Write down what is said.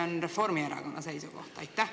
Või on see Reformierakonna seisukoht?